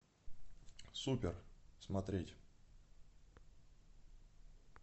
супер смотреть